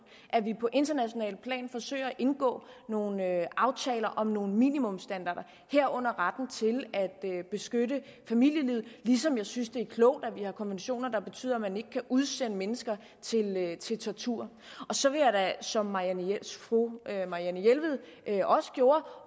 at vi på internationalt plan forsøger at indgå nogle aftaler om nogle minimumsstandarder herunder retten til at beskytte familielivet ligesom jeg synes at det er klogt at vi har konventioner der betyder at man ikke kan udsende mennesker til tortur så vil jeg da som fru marianne jelved også gjorde